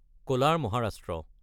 কলাৰ (Maharashtra)